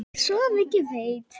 Svo mikið veit